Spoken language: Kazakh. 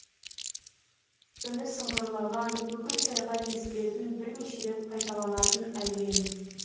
үні сыңғырлаған бүкіл сайға естілетін бірнеше рет қайталанатын әуен